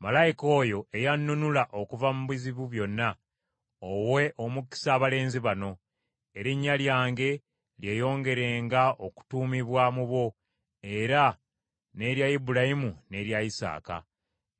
Malayika oyo eyannunula okuva mu bizibu byonna, owe omukisa abalenzi bano. Erinnya lyange lyeyongerenga okutuumibwa mu bo era n’erya Ibulayimu n’erya Isaaka.